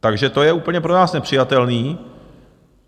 Takže to je úplně pro nás nepřijatelné.